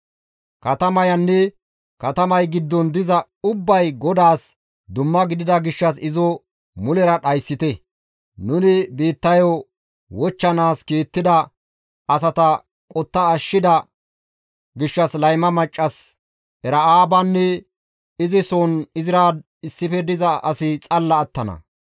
Katamayanne katamay giddon diza ubbay GODAAS dumma gidida gishshas izo mulera dhayssite; nuni biittayo wochchanaas kiittida asata qotta ashshida gishshas layma maccas Era7aabanne izi soon izira issife diza asi xalla attana.